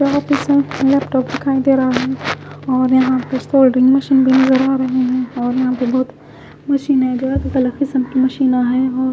यहाँ पे सब लैपटॉप दिखाई दे रहा है और यहाँ पे स्टार्टिंग मशीने दिखाई दे रही है और यहाँ पे बहोत मशीने है जो अलग अलग किस्म की मशीन है।